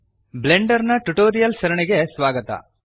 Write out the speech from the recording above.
Blender ನ tutorials ಸರಣಿಗೆ ಸ್ವಾಗತ